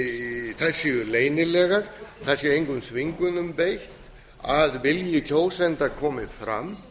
að þær séu leynilegar það sé engum þvingunum beitt að vilji kjósenda komi fram